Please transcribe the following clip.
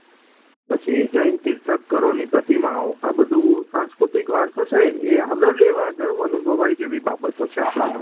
પછી જૈન તીર્થ કરની પ્રતિમાઓ આ બધું સાંસ્કૃતિક વારસો છે એ હવે ગર્વ અનુભવ જેવી બાબતો છે